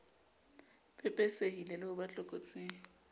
pepesehile le ho ba tlokotsing